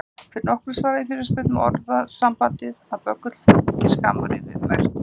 Fyrir nokkru svaraði ég fyrirspurn um hvað orðasambandið að böggull fylgi skammrifi merkti.